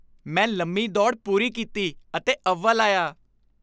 ਮੈਂ ਲੰਮੀ ਦੌੜ ਪੂਰੀ ਕੀਤੀ ਅਤੇ ਅਵਲ ਆਇਆ।